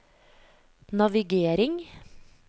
navigering